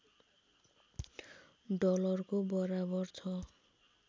डलरको बराबर छ